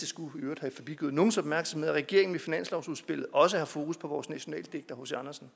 skulle have forbigået nogens opmærksomhed at regeringen med finanslovsudspillet også har fokus på vores nationaldigter hc andersen